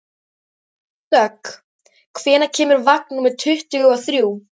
Dögg, hvenær kemur vagn númer tuttugu og þrjú?